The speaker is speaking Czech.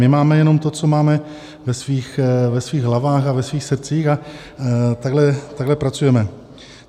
My máme jenom to, co máme ve svých hlavách a ve svých srdcích a takhle pracujeme.